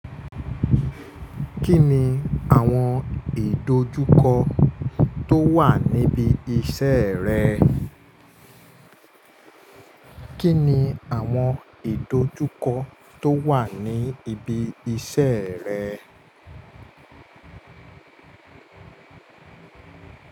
Kí ni àwọn ìdojúkọ tó wà níbi iṣẹ́ rẹ? Kí ni àwọn ìdojúkọ tó wà ní ibi iṣẹ́ rẹ?